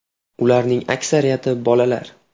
Ularning aksariyati bolalar.